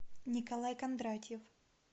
николай кондратьев